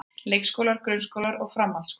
Leikskólar, grunnskólar og framhaldsskólar.